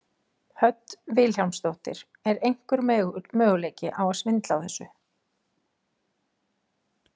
Hödd Vilhjálmsdóttir: Er einhver möguleiki á að svindla á þessu?